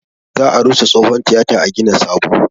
Za a rusa tsohon tiyata a gina sabo